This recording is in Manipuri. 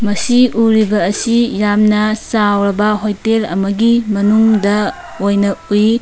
ꯁꯤ ꯎꯔꯤꯕ ꯑꯁꯤ ꯌꯥꯝꯅ ꯆꯥꯎꯔꯕ ꯍꯣꯇꯦꯜ ꯑꯃꯒꯤ ꯃꯅꯨꯡꯗ ꯑꯣꯏꯅ ꯎꯏ꯫